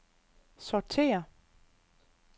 sortér